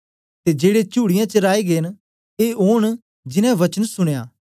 ते जेड़े चुड़ीयें च राए गै न ए ओन जिनैं वचन सुनया